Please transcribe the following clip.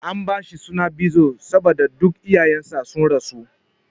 An bashi suna Bizo saboda duk iyayen sa sun rasu.